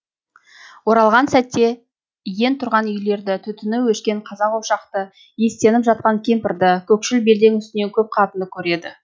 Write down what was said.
оралған сәтте иен тұрған үйлерді түтіні өшкен қазан ошақты иістеніп жатқан кемпірді көкшіл белдің үстінен көп қатынды көреді